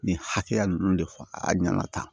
Nin hakɛya ninnu de fɔ a ɲɛna tan